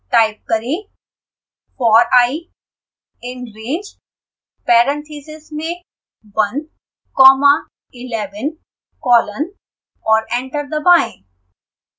type करें for i in range parentheses में one comma eleven colon और enter दबाएं